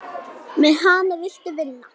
Með hana viltu vinna.